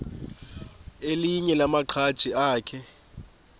elinye lamaqhaji akhe